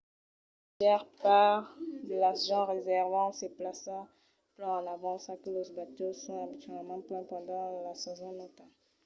la màger part de las gents resèrvan sas plaças plan en avança que los batèus son abitualament plens pendent la sason nauta